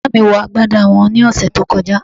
Bàbá mi wọ agbádá wọn ní ọ̀sẹ̀ tó kọjá